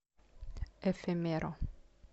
эфемеро